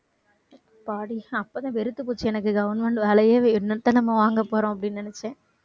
அப்பாடி அப்பதான் வெறுத்து போச்சு எனக்கு government வேலையே என்னத்த நாம வாங்க போறோம் அப்படின்னு நினைச்சேன்